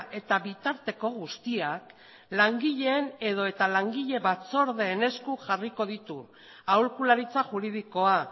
eta bitarteko guztiak langileen edota langile batzordeen esku jarriko ditu aholkularitza juridikoa